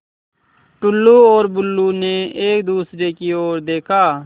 टुल्लु और बुल्लु ने एक दूसरे की ओर देखा